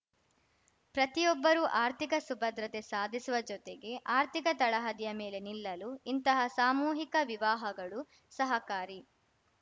ಪ್ರತಿಯೊಬ್ಬರೂ ಆರ್ಥಿಕ ಸುಭದ್ರತೆ ಸಾಧಿಸುವ ಜೊತೆಗೆ ಆರ್ಥಿಕ ತಳಹದಿಯ ಮೇಲೆ ನಿಲ್ಲಲು ಇಂತಹ ಸಾಮೂಹಿಕ ವಿವಾಹಗಳು ಸಹಕಾರಿ